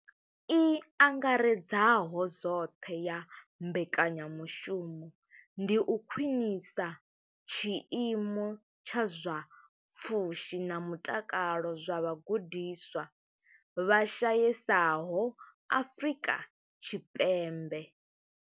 I angaredzaho zwoṱhe ya mbekanyamushumo ndi u khwinisa tshiimo tsha zwa pfushi na mutakalo zwa vhagudiswa vha shayesaho Afrika Tshipembe.